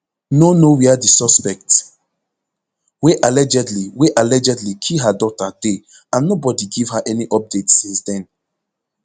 no know wia di suspect wey allegedly wey allegedly kill her daughter dey and nobody give her any update since den